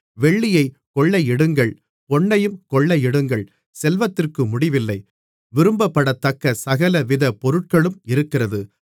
வெள்ளியைக் கொள்ளையிடுங்கள் பொன்னையும் கொள்ளையிடுங்கள் செல்வத்திற்கு முடிவில்லை விரும்பப்படத்தக்க சகலவித பொருட்களும் இருக்கிறது